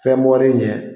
Fɛn bɔlen ɲɛ